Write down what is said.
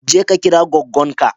Je ka kira goggon ka.